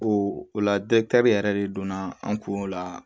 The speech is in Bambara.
O o la yɛrɛ de donna an kun la